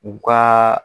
U ka